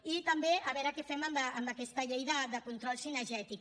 i també a veure què fem amb aquesta llei de control cinegètic